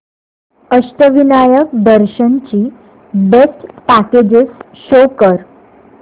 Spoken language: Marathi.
अष्टविनायक दर्शन ची बेस्ट पॅकेजेस शो कर